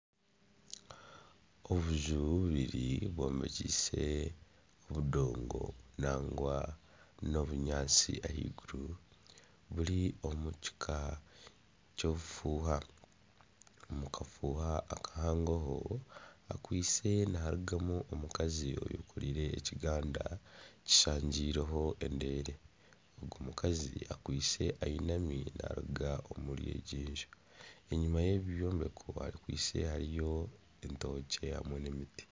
Obuju bubiri bwombekyise obudongo nangwa n'obunyaantsi ahaiguru buri omukika ky'obufuuha, omu kafuuha akahangoho hakwaitse niharugamu omukazi ayekoreire ekigandakazi kishangiireho endeere omukazi akwaitse ayinami naruga omuri egyo enju enyimu yebi ebyombeko hakwaitse hariyo entookye hamwe n'emiti.